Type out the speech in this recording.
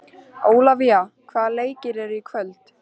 Ólafína, hvaða leikir eru í kvöld?